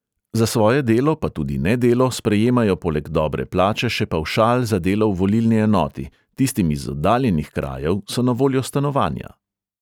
Za svoje delo pa tudi nedelo sprejemajo poleg dobre plače še pavšal za delo v volilni enoti, tistim iz oddaljenih krajev so na voljo stanovanja.